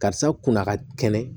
Karisa kunna ka kɛnɛ